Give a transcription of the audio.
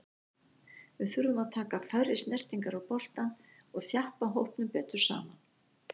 Við þurfum að taka færri snertingar á boltann og þjappa hópnum betur saman.